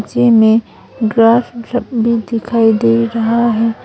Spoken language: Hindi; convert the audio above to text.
नीचे में ग्रास सब भी दिखाई दे रहा है।